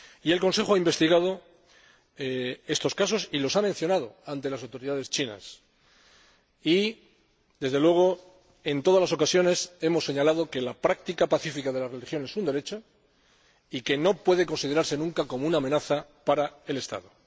El Consejo ha investigado estos casos y los ha mencionado ante las autoridades chinas. En todas las ocasiones hemos señalado que la práctica pacífica de la religión es un derecho y que no puede considerarse nunca como una amenaza para el Estado.